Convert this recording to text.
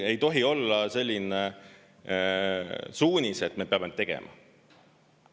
Ei tohi olla selline suunis, et me peame tegema.